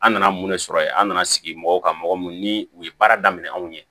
An nana mun ne sɔrɔ yen an nana sigi mɔgɔw ka mɔgɔ mun ni u ye baara daminɛ anw ye